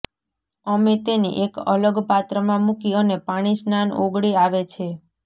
અમે તેને એક અલગ પાત્રમાં મૂકી અને પાણી સ્નાન ઓગળે આવે છે